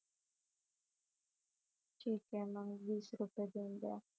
ठीक आहे मग वीस रुपये बिल दया